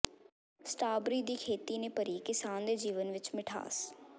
strawberry ਦੀ ਖੇਤੀ ਨੇ ਭਰੀ ਕਿਸਾਨ ਦੇ ਜੀਵਨ ਵਿੱਚ ਮਿਠਾਸ